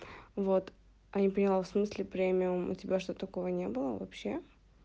вот я не поняла в смысле премиум у тебя что такого не было вообще